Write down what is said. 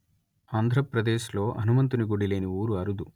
ఆంధ్ర ప్రదేశ్ ‌లో హనుమంతుని గుడి లేని ఊరు అరుదు